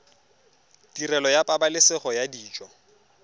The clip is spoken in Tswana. tirelo ya pabalesego ya dijo